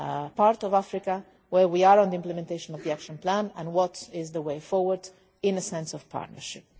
northern part of Africa, where we are on the implementation of the action plan and what is the way forward in terms of partnership.